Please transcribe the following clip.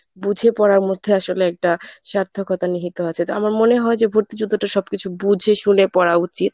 বুঝে পড়ার মধ্যে আসলে একটা সার্থকতা নিহিত আছে তো আমার মনে হয় যে ভর্তি যুদ্ধটা সবকিছু বুঝে শুনে পড়া উচিত।